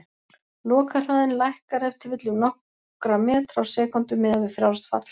Lokahraðinn lækkar ef til vill um nokkra metra á sekúndu, miðað við frjálst fall.